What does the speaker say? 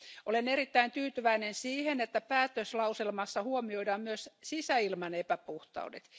Olen erittäin tyytyväinen siihen, että päätöslauselmassa huomioidaan myös sisäilman epäpuhtaudet.